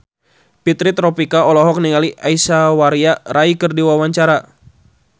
Fitri Tropika olohok ningali Aishwarya Rai keur diwawancara